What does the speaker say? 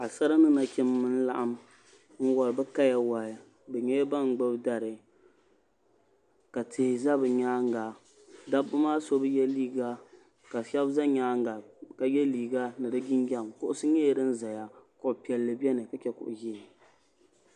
paɣ'sara ni nachimba n laɣim n wari bɛ kaya wahi bɛ nyela ban gbibi dari ka tihi za bɛ nyaaŋa dabba maa so bɛ ye liiga ka shɛba ʒe nyaaŋa ka ye liiga ni jinjɛm kuɣusi nyɛla din zaya kuɣ'piɛli beni ka chɛ kuɣu ʒee